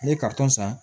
Ne ye san